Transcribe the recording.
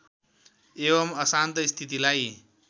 एवम् अशान्त स्थितिलाई